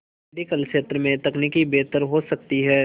medical क्षेत्र में तकनीक बेहतर हो सकती है